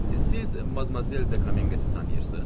Siz Madmazel Dekamenqe tanıyırsız?